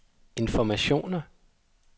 informationer